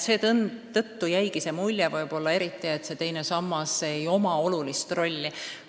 Seetõttu ongi ehk jäänud mulje, et teine sammas ei mängi olulist rolli.